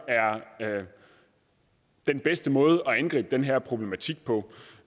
er den bedste måde at angribe den her problematik på